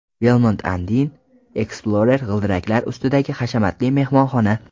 Belmond Andean Explorer g‘ildiraklar ustidagi hashamatli mehmonxona.